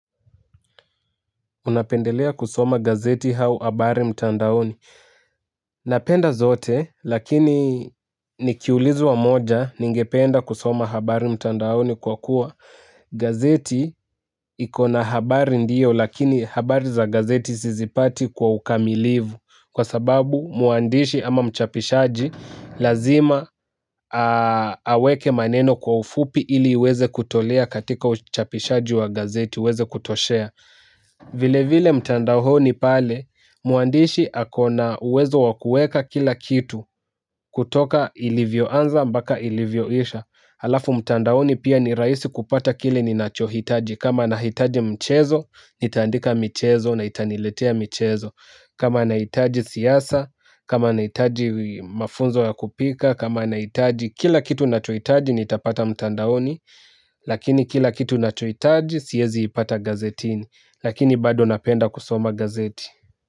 Unapendelea kusoma gazeti au habari mtandaoni. Napenda zote, lakini nikiulizwa moja, ningependa kusoma habari mtandaoni kwa kuwa. Gazeti ikona habari ndiyo, lakini habari za gazeti sizipati kwa ukamilivu. Kwa sababu muandishi ama mchapishaji, lazima aweke maneno kwa ufupi ili iweze kutolea katika uchapishaji wa gazeti, ueze kutoshea. Vile vile mtandaoni pale muandishi akona uwezo wa kueka kila kitu kutoka ilivyo anza mbaka ilivyo isha. Alafu mtandaoni pia ni rahisi kupata kile ni nacho hitaji. Kama na hitaji mchezo nitaandika michezo na itaniletea michezo. Kama na hitaji siyasa, kama na hitaji mafunzo ya kupika, kama na hitaji kila kitu na cho hitaji nitapata mtandaoni. Lakini kila kitu na cho hitaji siyezi ipata gazetini. Lakini bado napenda kusoma gazeti.